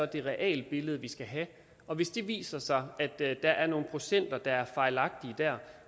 det realbillede vi skal have så og hvis det viser sig at der er nogle procenter der er fejlagtige der